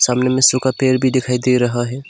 सामने में सूखा पेड़ भी दिखाई दे रहा है।